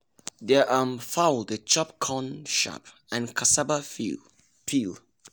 their um fowl dey chop corn chaff and cassava peel.